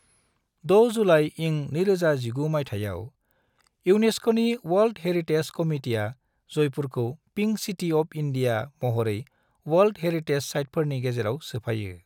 6 जुलाई इं 2019 माइथायाव, युनेस्क'नि अवाल्द हेरिटेज कमिटिआ जायपुरखौ " पिंक सिटि अफ इनडिया " महरै अवाल्द हेरिटेज साइटसफोरनि गेजेराव सोफायो।